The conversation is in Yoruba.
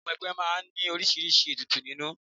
Ìmúwẹgbẹ́ máa ń ní oríṣiríṣi ètùtù nínú